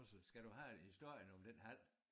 Skal du have historien om den hal?